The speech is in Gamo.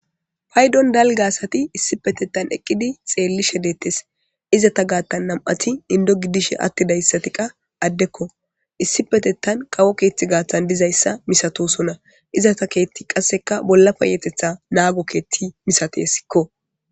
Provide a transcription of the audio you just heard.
paydon dalga asati issipetettan eqqidi xeelli shedeetes izata gaattan nam7ati indo gidishe attidayssati qa addekko issi petettan qawo keeththi gaaththan dizayssa misatosona izata keethti qasseka bolla payetetha naago keethti misatessikko